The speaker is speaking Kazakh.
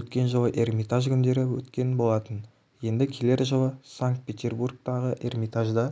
өткен жылы эрмитаж күндері өткен болатын енді келер жылы санкт-петербордағы эрмитажда